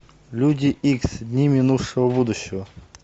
люди икс дни минувшего будущего